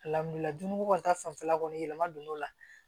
ko ta fanfɛla kɔni yɛlɛma donn'o la